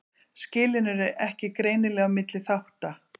Skilin eru ekki greinileg á milli þátta.